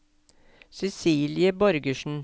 Cecilie Borgersen